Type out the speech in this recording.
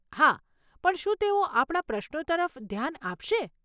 હા, પણ શું તેઓ આપણા પ્રશ્નો તરફ ધ્યાન આપશે?